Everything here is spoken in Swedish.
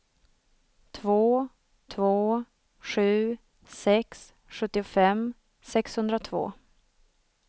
två två sju sex sjuttiofem sexhundratvå